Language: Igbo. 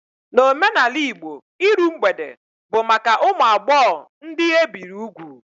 N'omenala Igbo, iru mgbede bụ maka ụmụ agbọghọ ndị ebiri ugwu